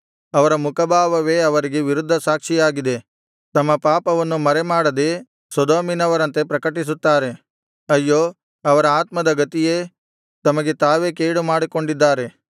ಅವರ ಮುಖಭಾವವೇ ಅವರಿಗೆ ವಿರುದ್ಧ ಸಾಕ್ಷಿಯಾಗಿದೆ ತಮ್ಮ ಪಾಪವನ್ನು ಮರೆಮಾಡದೇ ಸೊದೋಮಿನವರಂತೆ ಪ್ರಕಟಿಸುತ್ತಾರೆ ಅಯ್ಯೋ ಅವರ ಆತ್ಮದ ಗತಿಯೇ ತಮಗೆ ತಾವೇ ಕೇಡು ಮಾಡಿಕೊಂಡಿದ್ದಾರೆ